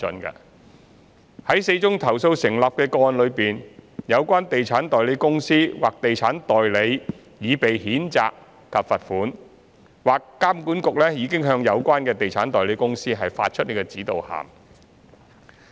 在4宗投訴成立的個案中，有關地產代理公司或地產代理已被譴責及罰款，或監管局已向有關地產代理公司發出指導函。